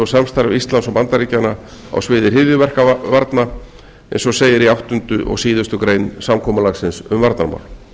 og samstarf íslands og bandaríkjanna á sviði hryðjuverkavarna eins og segir í áttundu og síðustu grein samkomulagsins um varnarmál